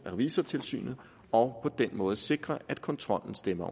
revisortilsynet og den måde sikre at kontrollen stemmer